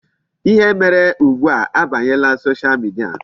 Ihe mere ugbu a abanyela Social media.